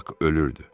Bak ölürdü.